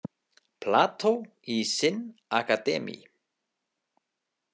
Plato i sin akademi.